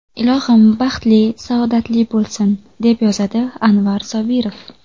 Ilohim baxtli, saodatli bo‘lsin”, deb yozadi Anvar Sobirov.